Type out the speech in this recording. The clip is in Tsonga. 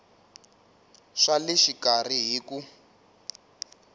swa le xikarhi hi ku